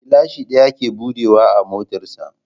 Gilashin ɗaya ke buɗe wa a motar sa